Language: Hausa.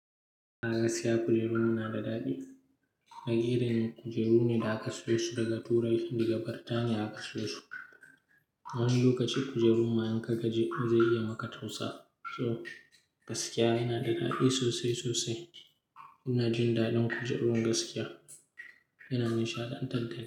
Gaskiya kujerun nan suna da daɗi. Wani irin kujeru ne da aka siyo su daga turai, Indiya, Bartaniya aka soya su. Wani lokaci kujeru ma in ka gaji zai iya maka tausa. So gaskiya yana da daɗi sosai, sosai. Ina jin daɗin kujerun gaskiya. Yana nishaɗantar dani.